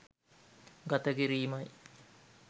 ගත කිරීමයි.